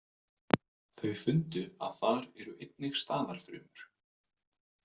Þau fundu að þar eru einnig staðarfrumur.